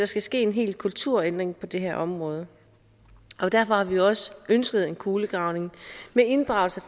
skal ske en hel kulturændring på det her område derfor har vi også ønsket en kulegravning med inddragelse